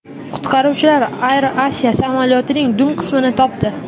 Qutqaruvchilar AirAsia samolyotining dum qismini topdi.